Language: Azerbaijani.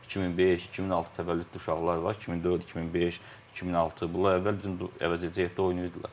2005, 2006 təvəllüdlü uşaqlar var, 2004, 2005, 2006, bunlar əvvəl bizim əvəzedici heyətdə oynayırdılar.